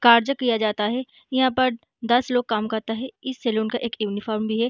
किया जाता है | यहाँ पर दस लोग काम करता है इस सैलून का एक यूनिफार्म